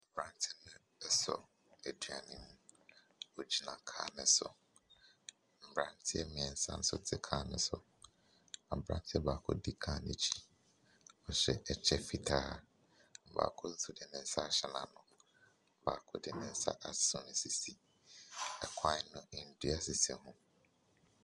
Aberanteɛ no asɔ aduan mu. Ɔgyina kaa no so. Mmeranteɛ mmeɛnsa nso te kaa no so. Aberanteɛ baako di kaa no akyi. Ɔhyɛ ɛkyɛ fitaa. Baako nso de ne nsa ahyɛ n'ano. Baako de ne nsa asɔ ne sisi. Kwan no, nnua sisi ho.